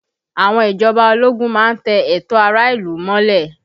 Àwọn ìjọba ológun má ń tẹ ẹ̀tọ́ ará ìlú mọ́lẹ̀